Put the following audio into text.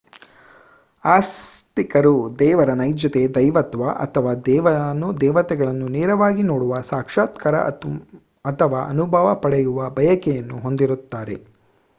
ಆಸ್ತಿಕರು ದೇವರ ನೈಜತೆ/ ದೈವತ್ವ ಅಥವಾ ದೇವಾನು ದೇವತೆಗಳನ್ನು ನೇರವಾಗಿ ನೋಡುವ ಸಾಕ್ಷಾತ್ಕಾರ ಅಥವಾ ಅನುಭವ ಪಡೆಯುವ ಬಯಕೆಯನ್ನು ಹೊಂದಿರುತ್ತಾರೆ